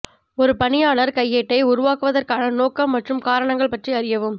ஒரு பணியாளர் கையேட்டை உருவாக்குவதற்கான நோக்கம் மற்றும் காரணங்கள் பற்றி அறியவும்